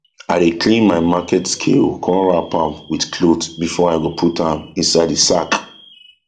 i dey clean my market scale com wrap am with cloth before i go put am inside e sack